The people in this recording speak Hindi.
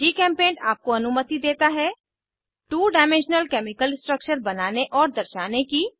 जीचेम्पेंट आपको अनुमति देता है टू डायमेंशनल केमिकल स्ट्रक्चर बनाने और दर्शाने की